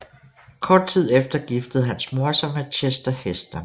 Kort tid efter giftede hans mor sig med Chester Heston